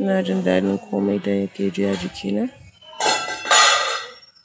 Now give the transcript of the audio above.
ina jin dadin kome da yake juya jikina.